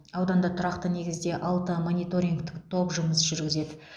ауданда тұрақты негізде алты мониторингтік топ жұмыс жүргізеді